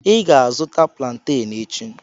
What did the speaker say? I ga-azụta planten echi.